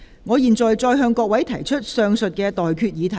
我現在向各位提出上述待決議題。